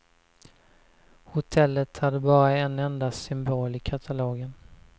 Hotellet hade bara en enda symbol i katalogen.